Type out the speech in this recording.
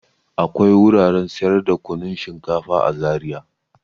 Akwai wuraren sayar da kunun shinkafa a Zariya.